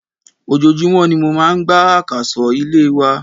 Ojojúmó ni mo máà ń gbá àkàsọ̀ ilé wa.